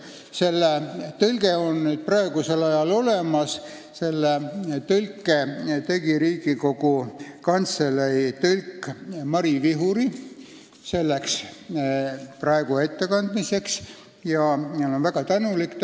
Selle resolutsiooni tõlge on nüüd olemas, selle tegi Riigikogu Kantselei tõlk Mari Vihuri ja ma olen talle väga tänulik.